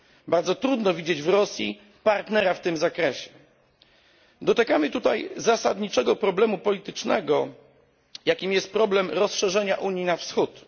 Bardzo trudno widzieć w Rosji partnera w tym zakresie. Dotykamy tutaj zasadniczego problemu politycznego, jakim jest problem rozszerzenia Unii na wschód.